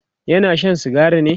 yana Shan sigari ne?